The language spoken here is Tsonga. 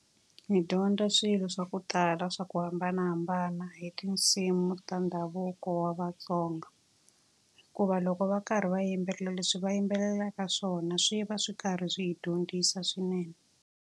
Hi dyondza swilo swa ku tala swa ku hambanahambana hi tinsimu ta ndhavuko wa vaTsonga. Hikuva loko va karhi va yimbelela, leswi va yimbelelaka swona swi va swi karhi swi hi dyondzisa swinene.